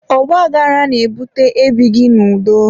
ọgbaghara na-ebute ebighị n'udo.